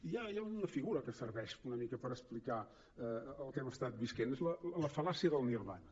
hi ha una figura que serveix una mica per explicar el que hem estat vivint és la fal·làcia del nirvana